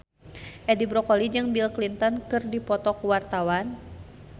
Edi Brokoli jeung Bill Clinton keur dipoto ku wartawan